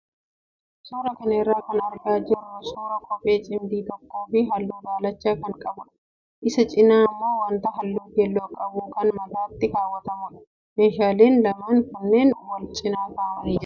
Suuraa kana irraa kan argaa jirru suuraa kophee cimdii tokkoo fi halluu daalacha kan qabudha. Isa cinaa immoo wanta halluu keelloo qabu kan mataatti kaawwatamudha. Meeshaaleen lamaan kunneen wal cinaa kaa'amanii jiru.